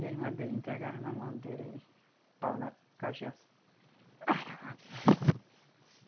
E a irmã dele entregava na mão dele, pau na cachaça.